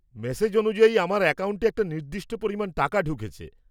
Message অনুযায়ী, আমার অ্যাকাউন্টে একটা নির্দিষ্ট পরিমাণ টাকা ঢুকেছে।